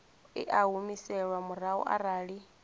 i a humiselwa murahu arali